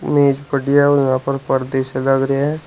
मेज पर्दे से लग रहे हैं।